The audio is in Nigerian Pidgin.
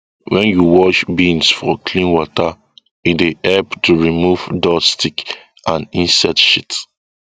when you wash beans for clean water e dey help to remove duststick and insect shit